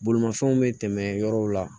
Bolimafɛnw bɛ tɛmɛ yɔrɔw la